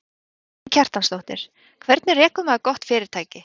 Karen Kjartansdóttir: Hvernig rekur maður gott fyrirtæki?